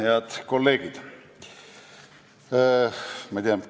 Head kolleegid!